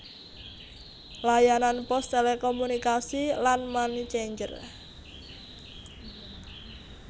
Layanan pos telekomunikasi lan money changer